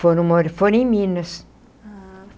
Foram mo foram em Minas. Ah.